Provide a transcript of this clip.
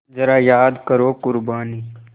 ज़रा याद करो क़ुरबानी